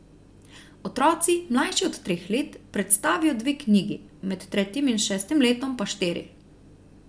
Otroci, mlajši od treh let, predstavijo dve knjigi, med tretjim in šestim letom pa štiri.